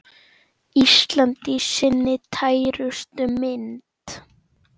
Ísland í sinni tærustu mynd.